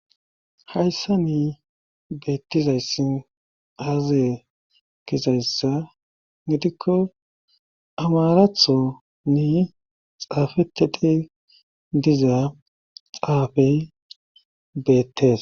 Hayssa ni beettizayssi aaze kesayssa gidikko amaratho ni xaafetedhi diza xaafey beettes.